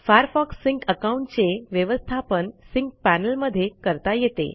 Firefox sync account चे व्यवस्थापन sync panel मधे करता येते